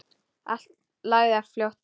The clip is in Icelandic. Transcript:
Hann lagði á flótta.